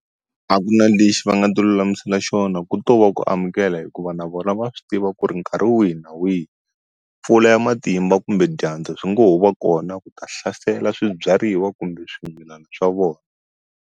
A ku na lexi va nga ti ulamisela xona ku to va ku amukela hikuva na vona va swi tiva ku ri nkarhi wihi na wihi pfula ya matimba kumbe dyandza swi ngo ho va kona ku ta hlasela swibyariwa kumbe swimilana swa vona.